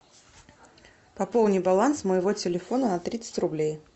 пополни баланс моего телефона на тридцать рублей